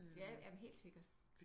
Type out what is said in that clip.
Ja ja men helt sikkert